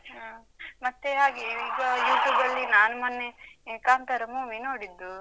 ಹ. ಮತ್ತೆ ಹಾಗೆ ಈಗ YouTube ಲ್ಲಿ ನಾನು ಮೊನ್ನೆ ಈ ಕಾಂತಾರ movie ನೋಡಿದ್ದು.